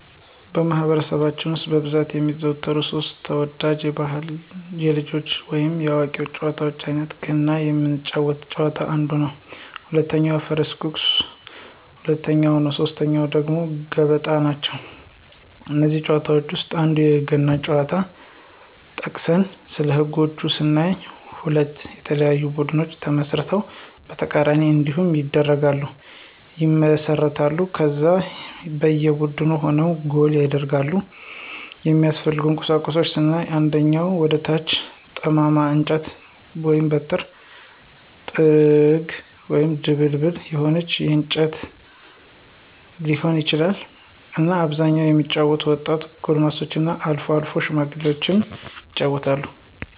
በማኅበረሰባችን ውስጥ በብዛት የሚዘወተሩ ሦስት (3) ተወዳጅ ባሕላዊ የልጆች ወይንም የአዋቂዎች ጨዋታዎች አይነቶቻቸው ገና ምንጫወተው ጨዋታ አንዱ ነው፣ ሁለተኛው የፈረስ ጉግስ ሁለተኛው ነው ሶስተኛው ደግሞ ገበጣ ናቸው። ከእነዚህ ጨዋታዎች ውስጥ የአንዱን ገና ጨዋታ ጠቅሰን ስለህጎች ስናይ ሁለት የተለያዩ ቡድኖች ተመስርተው በተቃራኒ እንዲሆኑ ይደረግና ይመሰረታሉ ከዛ በየ ቡድኑ የሆነ ጎል ይደረጋል፣ የሚያስፈልጉ ቁሳቁሶች ስናይ አንደኛ ከወደ ታች ጠማማ እንጨት(በትር)፣ጥንግ(ድቡልቡል የሆነ እንጨት ሊሆን ይችላል)እና በአብዛኛው የሚጫወቱት ወጣቶች፣ ጎረምሶችና አልፎ አልፎም ሽማግሎች ይጫወታሉ።